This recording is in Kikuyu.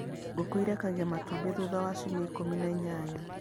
Ngũkũ ĩrekagia matumbĩ thutha wa ciumia ikũmi na inyanya.